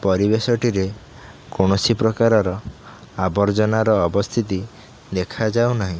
ପରିବେଶଟିରେ କୌଣସି ପ୍ରକାରର ଆବର୍ଜନାର ଅବସ୍ଥିତି ଦେଖା ଯାଉନାହିଁ।